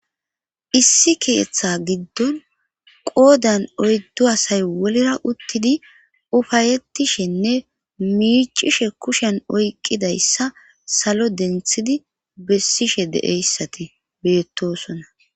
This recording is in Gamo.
Issi kiyetha giddon qoodan oyddo asay wolera uttidi ufayettishenne miicishe kushen oyqqidayssa salo denthidi bessishe de'eyssati beettosona